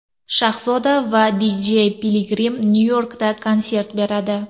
Shahzoda va Dj Piligrim Nyu-Yorkda konsert beradi.